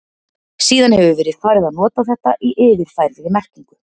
Síðan hefur verið farið að nota þetta í yfirfærðri merkingu.